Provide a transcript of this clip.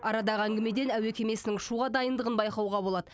арадағы әңгімеден әуе кемесінің ұшуға дайындығын байқауға болады